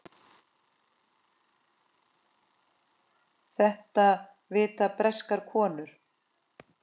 Þetta vita breskar konur.